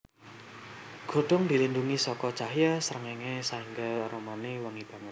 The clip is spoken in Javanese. Godhong dilindhungi saka cahya srengéngé saéngga aromané wangi banget